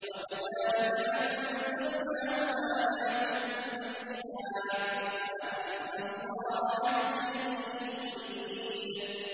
وَكَذَٰلِكَ أَنزَلْنَاهُ آيَاتٍ بَيِّنَاتٍ وَأَنَّ اللَّهَ يَهْدِي مَن يُرِيدُ